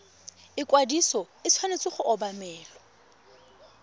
ikwadiso e tshwanetse go obamelwa